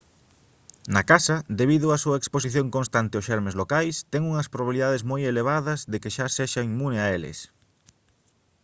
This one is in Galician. na casa debido á súa exposición constante aos xermes locais ten unhas probabilidades moi elevadas de que xa sexa inmune a eles